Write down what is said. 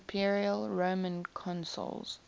imperial roman consuls